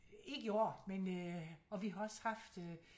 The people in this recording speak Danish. Ikke i år men øh og vi har også haft øh